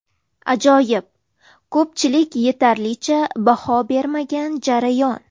Ajoyib, ko‘pchilik yetarlicha baho bermagan jarayon.